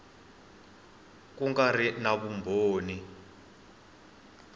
ku nga ri na vumbhoni